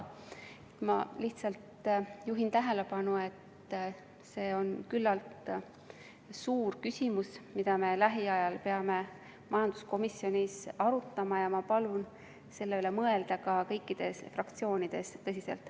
Ma lihtsalt juhin tähelepanu, et see on küllalt suur küsimus, mida me lähiajal peame majanduskomisjonis arutama, ja ma palun selle üle tõsiselt mõelda kõikides fraktsioonides.